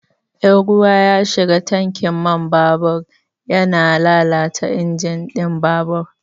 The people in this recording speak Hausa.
In ruwa ya shiga tankin man babur yana lalata injin ɗin babur.